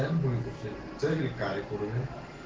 дамы цели карикатуры